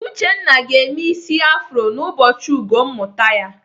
Uchenna ga-eme ịsị afro n'ụbọchị ugo mmụta ya.